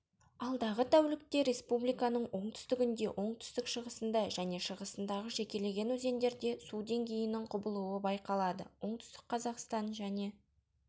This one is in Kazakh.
алдағы тәулікте республиканың оңтүстігінде оңтүстік-шығысында және шығысындағы жекелеген өзендерде су деңгейінің құбылуы байқалады оңтүстік қазақстан және